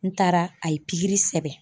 N taara a ye pikiri sɛbɛn.